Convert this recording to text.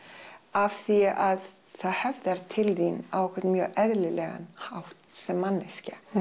af því að það höfðar til þín á einhvern mjög eðlilegan hátt sem manneskja